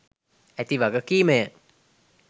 ඇති වගකීමය.